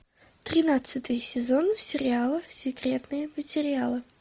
тринадцатый сезон сериала секретные материалы